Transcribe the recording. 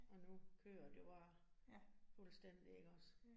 Og nu kører det var fuldstændig ikke også